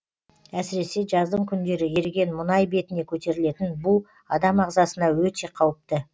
әсіресе жаздың күндері еріген мұнай бетіне көтерілетін бу адам ағзасына өте қауіпті